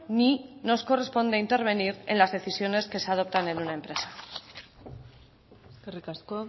ni nos corresponde intervenir en las decisiones que se adoptan en una empresa eskerrik asko